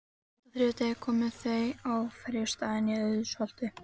Seint á þriðja degi komu þau á ferjustaðinn í Auðsholti.